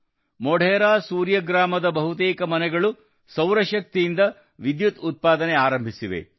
ಮೊಢೆರಾ ಸೂರ್ಯ ಗ್ರಾಮದ ಬಹುತೇಕ ಮನೆಗಳು ಸೌರಶಕ್ತಿಯಿಂದ ವಿದ್ಯುತ್ ಉತ್ಪಾದನೆ ಆರಂಭಿಸಿವೆ